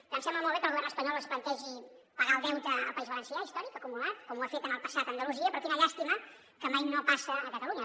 em sembla molt bé que el govern espanyol es plantegi pagar el deute al país valencià històric acumulat com ho ha fet en el passat a andalusia però quina llàstima que mai no passa a catalunya